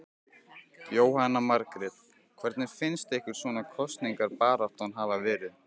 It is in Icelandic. Jóhanna Margrét: Hvernig finnst ykkur svona kosningabaráttan hafa verið?